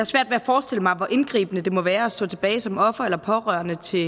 svært ved at forestille mig hvor indgribende det må være at stå tilbage som offer eller pårørende til